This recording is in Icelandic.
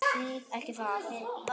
Ekki það.?